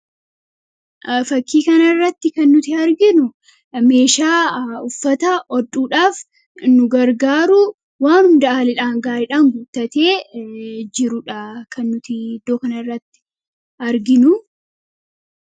Fakkii kanarratti kan nuti arginu meeshaa uffata hodhuudhaaf nu gargaaru waan hundaan gaariidhaan guuttatee jirudha kan nuti iddoo kanarratti arginu.